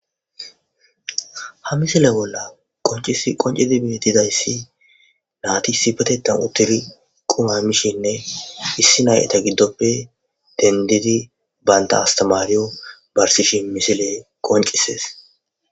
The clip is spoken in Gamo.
Nayti issipeteththan uttidi qumma mishshenne issi nay iza giddoppe dendidi bantta astamariyo barsishe dizayssa misiley qoncise'es.